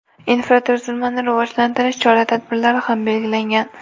Infratuzilmani rivojlantirish chora-tadbirlari ham belgilangan.